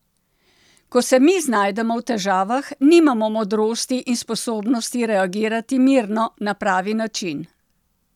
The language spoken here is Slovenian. Ko se mi znajdemo v težavah, nimamo modrosti in sposobnosti reagirati mirno, na pravi način.